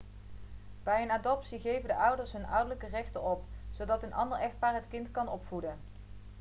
bij een adoptie geven de ouders hun ouderlijke rechten op zodat een ander echtpaar het kind kan opvoeden